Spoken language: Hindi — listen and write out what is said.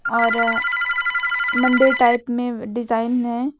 और मंदिर टाइप में डिजाइन है।